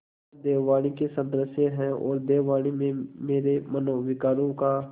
वह देववाणी के सदृश हैऔर देववाणी में मेरे मनोविकारों का